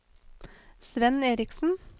Svenn Erichsen